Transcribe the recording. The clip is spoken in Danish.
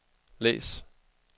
læs